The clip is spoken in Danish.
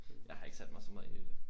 Jeg har ikke sat mig så meget ind i det